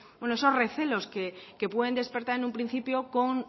esos recelos que pueden despertar en un principio con